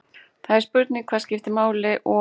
Það er spurning hvað skiptir máli og.